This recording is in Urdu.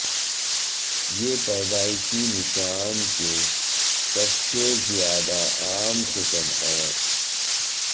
یہ پیدائشی نشان کے سب سے زیادہ عام قسم ہے